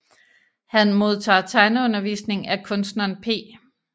Han modtager tegneundervisning af kunstneren P